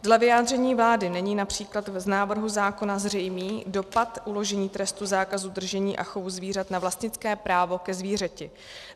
Dle vyjádření vlády není například z návrhu zákona zřejmý dopad uložení trestu zákazu držení a chovu zvířat na vlastnické právo ke zvířeti.